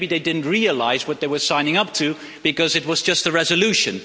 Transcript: Maybe they didn't realise what they were signing up to because it was just a resolution.